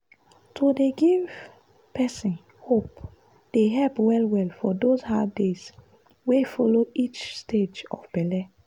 to dey give person hope dey help well-well for those hard days wey follow each stage of belle.